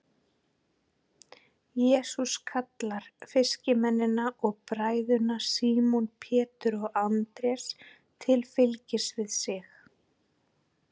Jesús kallar fiskimennina og bræðurna Símon Pétur og Andrés til fylgis við sig.